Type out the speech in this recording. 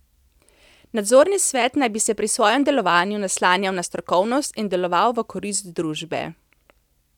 Nadzorni svet naj bi se pri svojem delovanju naslanjal na strokovnost in deloval v korist družbe.